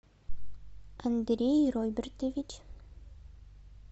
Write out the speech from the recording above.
андрей робертович